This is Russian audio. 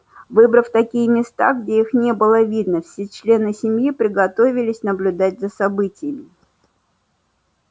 выбрав такие места где их не было видно все члены семьи приготовились наблюдать за событиями